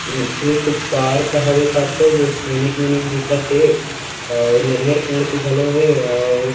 ये एक पार्क हवेका तो जो सैनिक वैनिक दिखत थे और नरियर पेड़ के घलो हे और